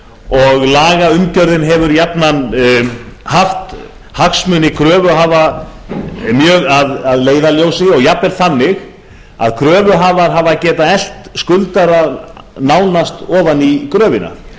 og lagaumgjörðin hefur jafnan haft hagsmuni kröfuhafa mjög að leiðarljósi og jafnvel þannig að kröfuhafar hafa getað elt skuldara nánast ofan í gröfina